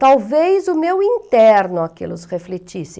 Talvez o meu interno aquilo refletisse.